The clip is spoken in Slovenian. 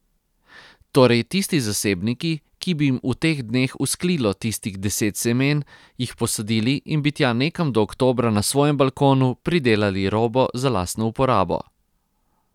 Torej tisti zasebniki, ki bi jim v teh dneh vzklilo tistih deset semen, jih posadili in bi tja nekam do oktobra na svojem balkonu pridelali robo za lastno uporabo.